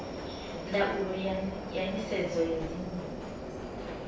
ndaulo ya nisedzo ya dzinnu